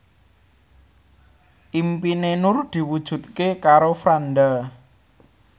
impine Nur diwujudke karo Franda